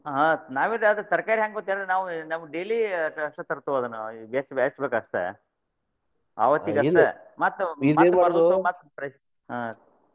ಹಾ ನಾವ್ ತರಕಾರಿ ಹಾಕ್ಬೇಕ್ ನಾವ್, daily ಎಷ್ಟ ಬೇಕಷ್ಟ. ಅವತ್ತಿಗಸ್ಟ ಮತ್ ಹಾ.